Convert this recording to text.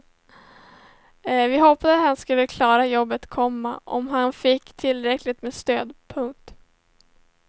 Vi hoppades han skulle klara jobbet, komma om han fick tillräckligt med stöd. punkt